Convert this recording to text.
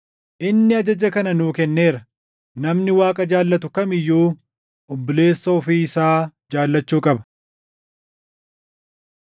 Inni ajaja kana nuu kenneera: Namni Waaqa jaallatu kam iyyuu obboleessa ofii isaa jaallachuu qaba.